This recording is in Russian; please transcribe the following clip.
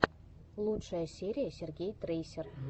лучшая серия сергей трейсер